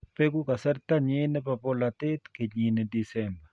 beku kasartanyin nebo bolatet kenyini disemba.